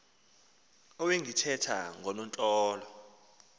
ewe ndithetha ngoonontlalo